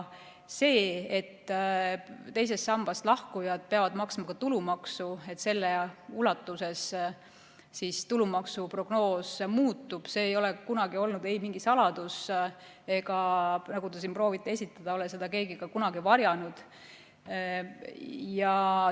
See, et teisest sambast lahkujad peavad maksma tulumaksu ja et selle ulatuses tulumaksu prognoos muutub, ei ole kunagi olnud ei mingi saladus ega ole seda, nagu te proovite esitada, keegi ka kunagi varjanud.